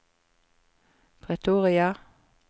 Pretoria